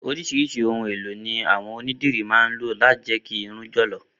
Orísirísi ohun elo ni àwọn onídìrí ma ń lò lati je kí irun jọ̀ lọ̀.